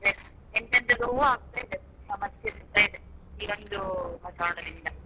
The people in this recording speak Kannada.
ಎಂತೆಂತದೋ ಆಗ್ತಾ ಇದೆ ಸಮಸ್ಯೆ ಆಗ್ತಾ ಇದೆ ಈ ಒಂದು ವಾತಾವಾರಣದಿಂದ.